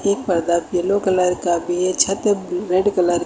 एक पर्दा yellow colour का भी है छत रेड कलर की--